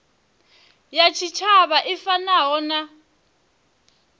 ya tshitshavha i fanaho na